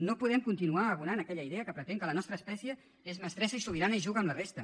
no podem continuar abonant aquella idea que pretén que la nostra espècie és mestressa i sobirana i juga amb la resta